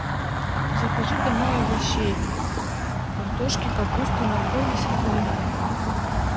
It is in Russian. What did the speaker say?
закажи домой овощей картошки капусты моркови свеклы